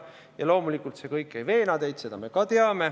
Ja loomulikult see kõik ei veena teid, seda me ka teame.